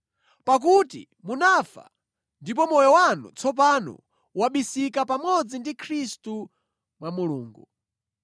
Pakuti munafa, ndipo moyo wanu tsopano wabisika pamodzi ndi Khristu mwa Mulungu.